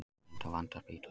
Blind á vanda spítalans